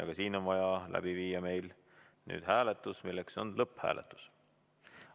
Ka siin on meil vaja läbi viia lõpphääletus.